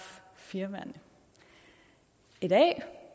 firmaerne i dag